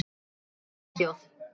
Í Svíþjóð